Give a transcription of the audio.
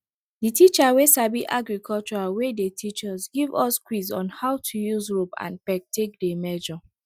the teacher we sabi agriculture wey dey teach us give us quiz on how to use rope and peg take dey measure